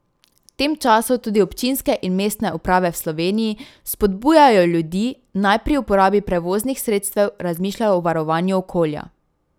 V tem času tudi občinske in mestne uprave v Sloveniji spodbujajo ljudi, naj pri uporabi prevoznih sredstev razmišljajo o varovanju okolja.